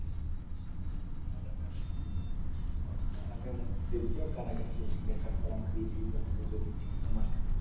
উহ কারাগার দেখলে কারাগার শেষ দেখার পর আমাকে